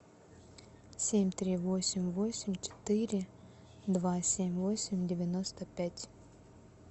семь три восемь восемь четыре два семь восемь девяносто пять